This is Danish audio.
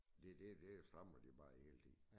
Det det det strammer de bare hele tiden